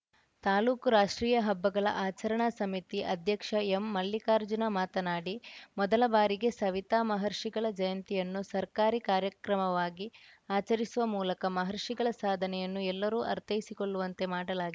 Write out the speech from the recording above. ತಾಲೂಕು ರಾಷ್ಟ್ರೀಯ ಹಬ್ಬಗಳ ಆಚರಣಾ ಸಮಿತಿ ಅಧ್ಯಕ್ಷ ಎಂಮಲ್ಲಿಕಾರ್ಜುನ ಮಾತನಾಡಿ ಮೊದಲ ಬಾರಿಗೆ ಸವಿತಾ ಮಹರ್ಷಿಗಳ ಜಯಂತಿಯನ್ನು ಸರ್ಕಾರಿ ಕಾರ್ಯಕ್ರಮವಾಗಿ ಆಚರಿಸುವ ಮೂಲಕ ಮಹರ್ಷಿಗಳ ಸಾಧನೆಯನ್ನು ಎಲ್ಲರೂ ಅರ್ಥೈಸಿಕೊಳ್ಳುವಂತೆ ಮಾಡಲಾ